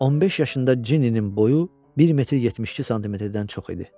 15 yaşında Cinninin boyu 1 metr 72 santimetrdən çox idi.